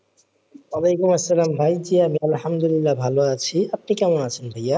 ওলাইকুম আসসালাম ভাই জি আমি আলহামদুলিল্লাহ ভালো আছি আপনি কেমন আছেন ভাইয়া?